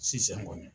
Sisan kɔni